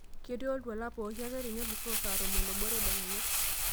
ketii oltuala pooki ake tenelusoo saa tomon oobo tedekenya